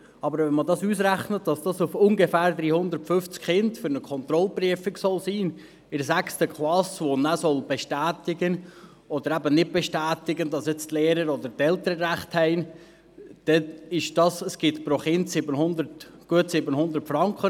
Aber wenn man dies ausrechnet, dass dies für etwa 350 Kinder in der 6. Klasse für eine Kontrollprüfung sein soll, mit welcher bestätigt oder eben nicht bestätigt werden soll, dass die Lehrer oder die Eltern recht haben, ergibt dies pro Kind gut 700 Franken.